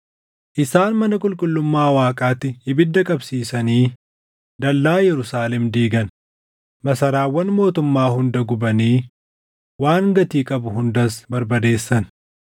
Isaan mana qulqullummaa Waaqaatti ibidda qabsiisanii dallaa Yerusaalem diigan; masaraawwan mootummaa hunda gubanii waan gatii qabu hundas barbadeessan.